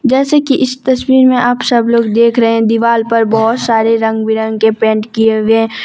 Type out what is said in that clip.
जैसे कि इस तस्वीर में आप सब लोग देख रहे है दीवाल पर बहोत सारे रंग बिरंग के पेंट किए हुए है।